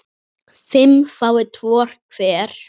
fimm fái tvo hver